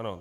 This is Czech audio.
Ano.